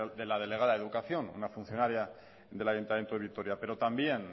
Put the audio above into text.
de la delegada de educación una funcionaria del ayuntamiento de vitoria pero también